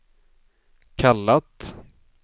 kallat